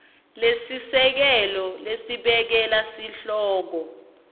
lesisekelo lesekela sihloko